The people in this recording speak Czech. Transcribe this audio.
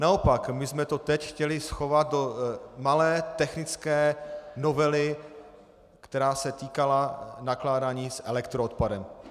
Naopak, my jsme to teď chtěli schovat do malé technické novely, která se týkala nakládání s elektroodpadem.